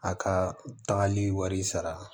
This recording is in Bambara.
A ka tagali wari sara